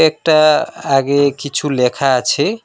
একটা আগে কিছু লেখা আছে।